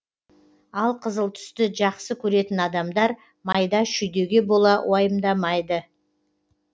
алқызыл түсті жақсы көретін адамдар майда шүйдеге бола уайымдайды